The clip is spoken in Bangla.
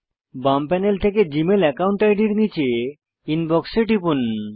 বাম প্যানেল থেকে জীমেল একাউন্ট আইডির নীচে ইনবক্স এ টিপুন